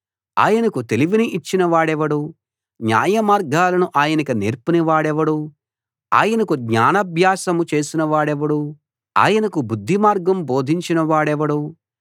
ఆయనకు తెలివిని ఇచ్చిన వాడెవడు న్యాయమార్గాలను ఆయనకు నేర్పిన వాడెవడు ఆయనకు జ్ఞానాభ్యాసం చేసిన వాడెవడు ఆయనకు బుద్ధిమార్గం బోధించిన వాడెవడు